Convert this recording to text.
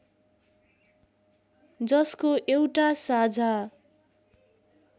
जसको एउटा साझा